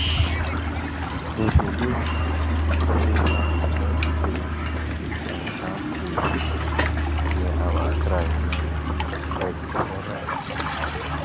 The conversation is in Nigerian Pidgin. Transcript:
we believe um say some kind tree some kind tree fit hear our cry when we dey beg for rain.